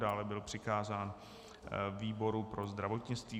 Dále byl přikázán výboru pro zdravotnictví.